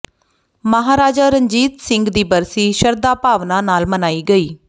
ਮਾਹਾਰਾਜਾ ਰਣਜੀਤ ਸਿੰਘ ਦੀ ਬਰਸੀ ਸ਼ਰਧਾ ਭਾਵਨਾ ਨਾਲ ਮਨਾਈ ਗਈ